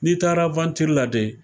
N'i taara la dɛ